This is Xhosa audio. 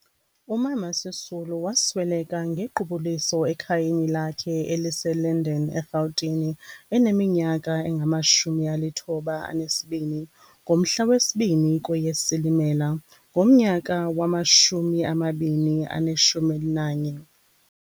Umama uSisulu wasweleka ngequbuliso ekhayeni lakhe elise - Linden, eRhawutini eneminyaka engama- 92 ngomhla we - 2 KweyeSilimela ngomyaka wama- 2011.